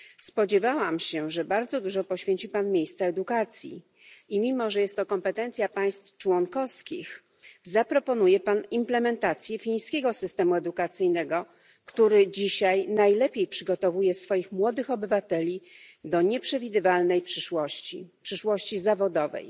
Spodziewałam się, że bardzo dużo miejsca poświęci pan edukacji i, mimo że jest to kompetencja państw członkowskich, zaproponuje pan implementację fińskiego systemu edukacyjnego, który dzisiaj najlepiej przygotowuje swoich młodych obywateli do nieprzewidywalnej przyszłości zawodowej.